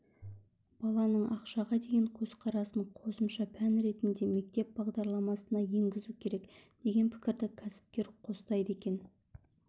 баланың ақшаға деген көзқарасын қосымша пән ретінде мектеп бағдарламасына енгізу керек деген пікірді кәсіпкер қостайды екен